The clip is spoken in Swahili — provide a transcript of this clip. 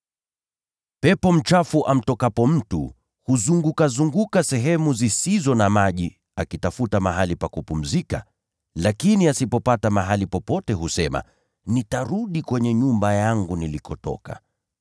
“Pepo mchafu amtokapo mtu, hutangatanga katika sehemu zisizo na maji akitafuta mahali pa kupumzika, lakini hapati. Ndipo husema, ‘Nitarudi kwenye nyumba yangu nilikotoka.’